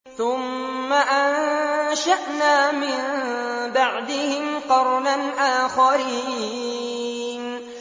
ثُمَّ أَنشَأْنَا مِن بَعْدِهِمْ قَرْنًا آخَرِينَ